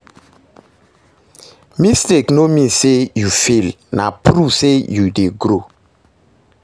Mistake no mean say you fail, na proof say you dey grow